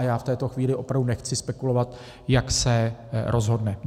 A já v této chvíli opravdu nechci spekulovat, jak se rozhodne.